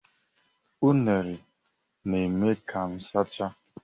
Unere na-eme ka m sachaa.